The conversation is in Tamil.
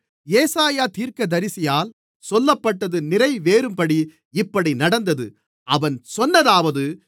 ஏசாயா தீர்க்கதரிசியால் சொல்லப்பட்டது நிறைவேறும்படி இப்படி நடந்தது அவன் சொன்னதாவது